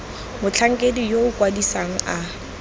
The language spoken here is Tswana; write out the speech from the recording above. motlhankedi yo o kwadisang a